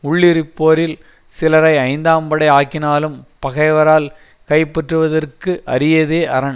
உள்ளிருப்போரில் சிலரை ஐந்தாம் படை ஆக்கினாலும் பகைவரால் கைப்பற்றுவதற்கு அரியதே அரண்